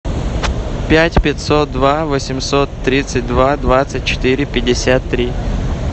пять пятьсот два восемьсот тридцать два двадцать четыре пятьдесят три